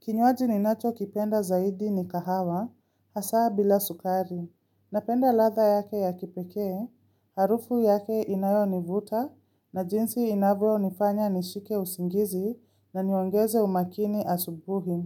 Kinywaji ninachokipenda zaidi ni kahawa, hasa bila sukari. Napenda ladha yake ya kipekee, harufu yake inayonivuta, na jinsi inavyo nifanya nishike usingizi na niongeze umakini asubuhi.